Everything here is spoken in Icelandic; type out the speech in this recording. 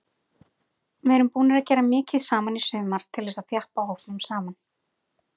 Við erum búnir að gera mikið saman í sumar til þess að þjappa hópnum saman.